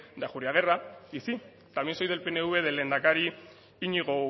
de ajuriaguerra y sí también soy del pnv del lehendakari iñigo